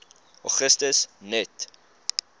augustus net